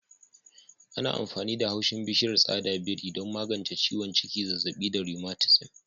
Ana amfani da haushin bishiyar tsada biri don magance ciwon ciki, zazzabi da rheumatism.